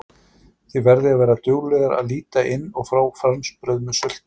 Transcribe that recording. Þið verðið að vera duglegar að líta inn og fá franskbrauð með sultu